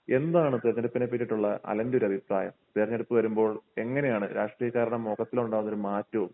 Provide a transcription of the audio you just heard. എന്താണ് തെരഞ്ഞെടുപ്പിനെ പറ്റിയിട്ടുള്ള അലൻ്റെ ഒരു അഭിപ്രായം? തിരഞ്ഞെടുപ്പ് വരുമ്പോൾ എങ്ങനെയാണ് രാഷ്ട്രീയക്കാരുടെ മൊഖത്തിലുണ്ടാകുന്ന ഒരു മാറ്റവും